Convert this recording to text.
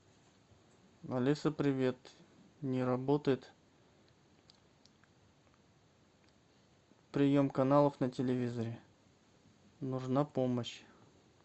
алиса привет не работает прием каналов на телевизоре нужна помощь